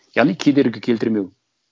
яғни кедергі келтірмеу